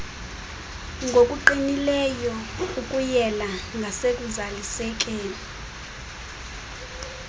ngokuqinileyo ukuyela ngasekuzalisekiseni